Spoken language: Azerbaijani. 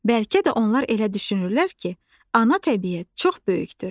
Bəlkə də onlar elə düşünürlər ki, ana təbiət çox böyükdür.